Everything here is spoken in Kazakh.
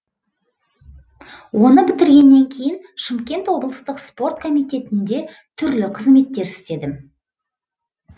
оны бітіргеннен кейін шымкент облыстық спорт комитетінде түрлі қызметтер істедім